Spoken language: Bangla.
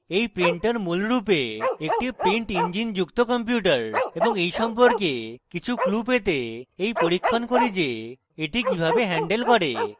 এই printer মূলরূপে একটি print ইঞ্জিনযুক্ত কম্পিউটার এবং এই সম্পর্কে কিছু clues পেতে এই পরীক্ষণ করি the the কিভাবে হ্যান্ডেল করে